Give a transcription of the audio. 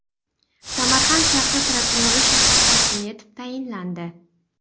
Samarqand shahri prokurori shahar hokimi etib tayinlandi.